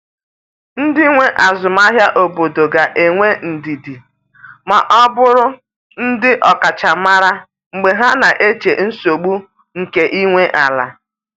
Ndị nwe azụmahịa obodo ga-enwe ndidi ma bụrụ ndị ọkachamara mgbe ha na-eche nsogbu nke ị nwe ala.